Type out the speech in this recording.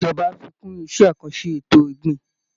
Ìjọba á fi kún iṣẹ́ àkànṣe ètò ọ̀gbìn